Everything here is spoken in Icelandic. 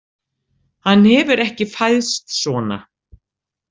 Hann hefur ekki fæðst svona.